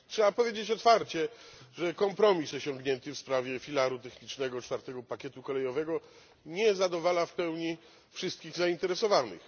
Trzeba powiedzieć otwarcie, że kompromis osiągnięty w sprawie filaru technicznego czwartego pakietu kolejowego nie zadowala w pełni wszystkich zainteresowanych.